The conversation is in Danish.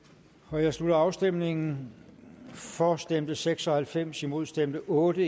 jeg slutter afstemningen for stemte seks og halvfems imod stemte otte